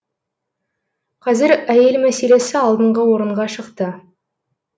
қазір әйел мәселесі алдыңғы орынға шықты